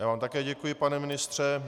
Já vám také děkuji, pane ministře.